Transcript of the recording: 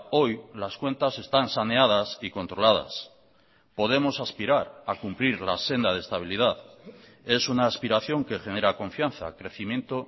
hoy las cuentas están saneadas y controladas podemos aspirar a cumplir la senda de estabilidad es una aspiración que genera confianza crecimiento